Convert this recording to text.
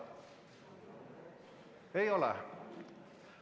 Ei ole.